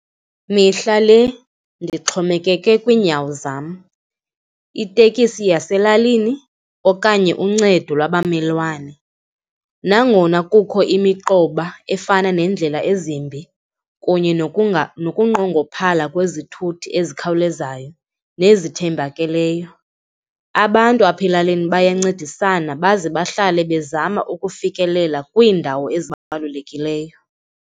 Mihla le ndixhomekeke kwiinyawo zam, itekisi yaselalini okanye uncedo lwabamelwane. Nangona kukho imiqoba efana neendlela ezimbi kunye nokunqongophala kwezithuthi ezikhawulezayo nezithembakeleyo, abantu apha elalini bayancedisana baze bahlale bezama ukufikelela kwiindawo ezibalulekileyo.